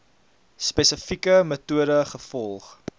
spesifieke metode gevolg